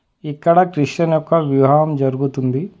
ఇక్కడ క్రిస్టియన్ యొక్క వివ్హాం జరుగుతుంది.